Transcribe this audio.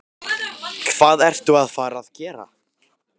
Hvað ertu að fara að gera?